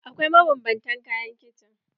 Akwai mabanbantan kayan kicin.